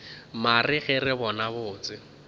mare ge re bona botse